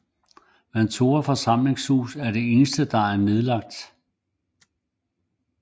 Vantore forsamlingshus er det eneste der er nedlagt